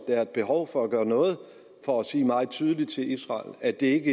er et behov for at gøre noget for at sige meget tydeligt til israel at det